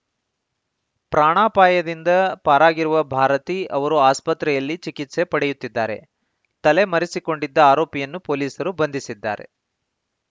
ಪ್ರಾಣಾಪಾಯದಿಂದ ಪಾರಾಗಿರುವ ಭಾರತಿ ಅವರು ಆಸ್ಪತ್ರೆಯಲ್ಲಿ ಚಿಕಿತ್ಸೆ ಪಡೆಯುತ್ತಿದ್ದಾರೆ ತಲೆಮರೆಸಿಕೊಂಡಿದ್ದ ಆರೋಪಿಯನ್ನು ಪೊಲೀಸರು ಬಂಧಿಸಿದ್ದಾರೆ